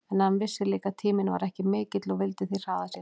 En hann vissi líka að tíminn var ekki mikill og vildi því hraða sér.